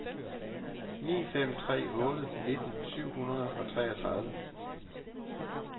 ni fem tre otte nitten syv hundrede og treogtredive